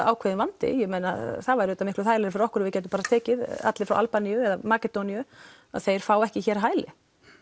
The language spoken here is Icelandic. ákveðinn vandi ég meina það væru auðvitað miklu þægilegra fyrir okkur að við gætum bara tekið alla frá Albaníu eða Makedóníu að þeir fái ekki hér hæli